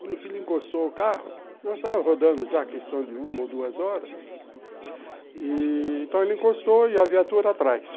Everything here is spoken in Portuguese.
Quando o filho encostou o carro, nós estávamos rodando já a questão de uma ou duas horas, então, ele encostou e a viatura atrás.